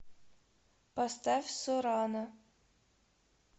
поставь сорана